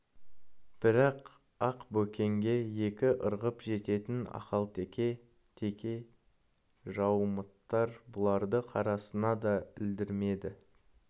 бірақ ақ бөкенге екі ырғып жететін ақал-теке теке жаумыттар бұларды қарасына да ілдірмеді